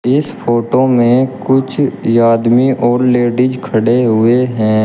इस फोटो में कुछ आदमी और लेडिज खड़े हुए हैं।